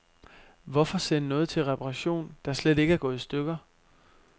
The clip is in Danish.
Hvorfor sende noget til reparation, der slet ikke er gået i stykker.